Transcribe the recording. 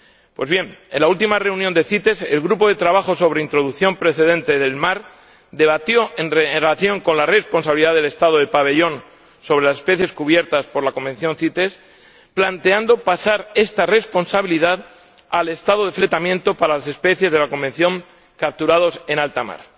Pues bien, en la última reunión de la CITES, el Grupo de trabajo sobre introducción procedente del mar debatió la responsabilidad del Estado del pabellón sobre las especies cubiertas por la Convención CITES, planteando pasar esta responsabilidad al Estado de fletamento para las especies de la Convención capturadas en alta mar.